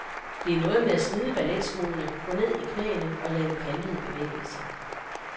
Det er noget med at smide balletskoene, gå ned i knæene og lave kantede bevægelser.